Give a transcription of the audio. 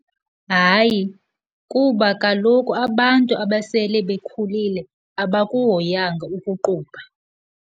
Hayi, kuba kaloku abantu abasele bekhulile abakuhoyanga ukuqubha.